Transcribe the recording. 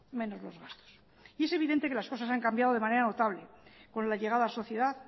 menos los gastos y es evidente que las cosas han cambiado de manera notable con la llegada a la sociedad